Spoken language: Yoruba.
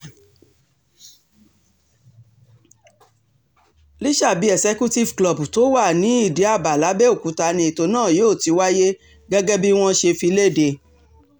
lọ́ṣàbí executive club tó wà ní ìdí-ábà làbẹ́òkúta ni ètò náà yóò ti wáyé gẹ́gẹ́ bí wọ́n ṣe fi lédè